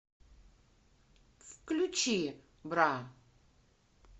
включи бра